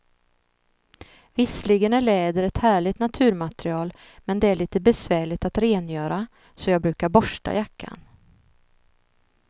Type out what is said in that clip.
Visserligen är läder ett härligt naturmaterial, men det är lite besvärligt att rengöra, så jag brukar borsta jackan.